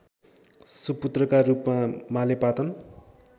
सुपुत्रका रूपमा मालेपाटन